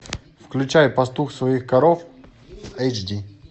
включай пастух своих коров эйч ди